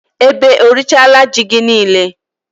Ebe o rịchala ji gị niile?